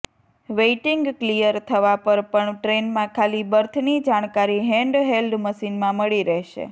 waiting clear થવા પર પણ ટ્રેનમાં ખાલી બર્થની જાણકારી હેન્ડ હેલ્ડ મશીનમાં મળી રહેશે